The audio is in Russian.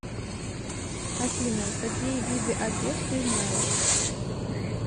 афина какие виды апеп ты знаешь